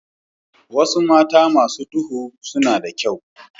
Wasu mata masu duhu suna da kyau.